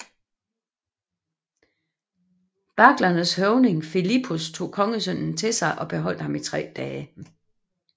Baglernes høvding Filippus tog kongesønnen til sig og beholdt ham i tre dage